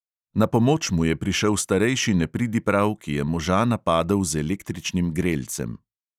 Na pomoč mu je prišel starejši nepridiprav, ki je moža napadel z električnim grelcem.